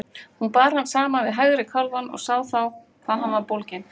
Hún bar hann saman við hægri kálfann og sá þá hvað hann var bólginn.